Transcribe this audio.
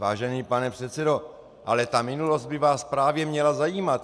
Vážený pane předsedo, ale ta minulost by vás právě měla zajímat.